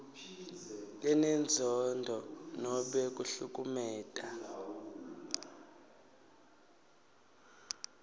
lenenzondo nobe kuhlukumeta